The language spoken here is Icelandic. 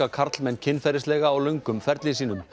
karlmenn kynferðislega á löngum ferli sínum